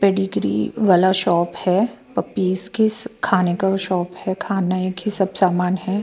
Pedigree वाला shop है puppies के खाने का भी शॉप है खाने का ही सब सामान है।